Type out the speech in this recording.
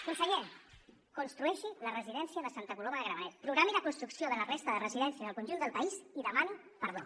conseller construeixi la residència de santa coloma de gramenet programi la construcció de la resta de residències del conjunt del país i demani perdó